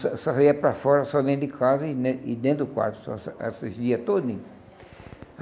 Só só ia para fora, só dentro de casa e den e dentro do quarto só, esses dias todinhos.